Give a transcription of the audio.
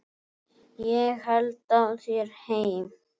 Ég held á þér heim.